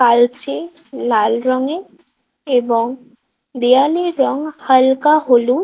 আলছে লাল রঙে এবং দেয়ালের রং হালকা হলুদ।